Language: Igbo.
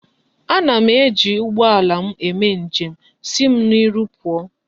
Ana m eji ugboala m eme njem.,Si m n'iru puo!